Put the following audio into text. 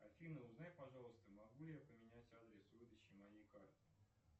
афина узнай пожалуйста могу ли я поменять адрес выдачи моей карты